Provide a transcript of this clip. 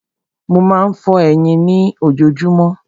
Mo má ń fọ eyín mi lójojúmọ́.